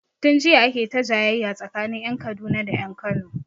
Tun jiya ake ta jayayya tsakanin ƴan Kaduna da ƴan Kano